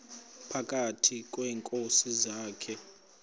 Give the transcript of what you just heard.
phakathi kweenkosi zakhe